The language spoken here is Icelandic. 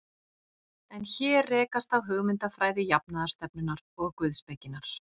En hér rekast á hugmyndafræði jafnaðarstefnunnar og guðspekinnar.